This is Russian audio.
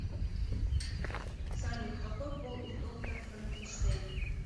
салют какой пол у доктор франкенштейн